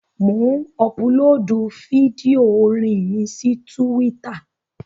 Mò ń ọpulóòdù fídíò orin mi sí túwítà